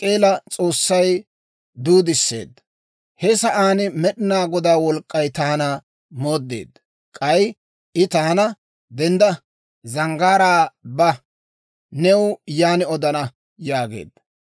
He sa'aan Med'inaa Godaa wolk'k'ay taana mooddeedda; k'ay I taana, «Dendda; zanggaaraa ba. New yaan odana» yaageedda.